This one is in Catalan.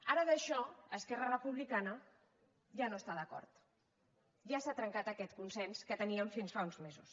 ara en això esquerra republicana ja no està d’acord ja s’ha trencat aquest consens que teníem fins fa uns mesos